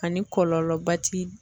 Ani kɔlɔlɔba ti